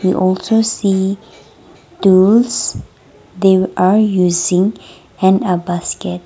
and also see tools they are using and a basket.